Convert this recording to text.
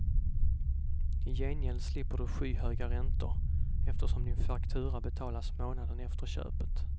I gengäld slipper du skyhöga räntor, eftersom din faktura betalas månaden efter köpet.